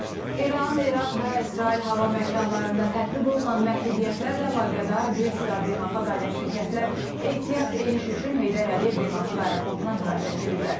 İran, İraq və İsrail hava məkanlarında tətbiq olunan məhdudiyyətlərlə əlaqədar bir sıra beynəlxalq aviaşirkətlər ehtiyat eniş üçün Heydər Əliyev Beynəlxalq Aeroportuna müraciət ediblər.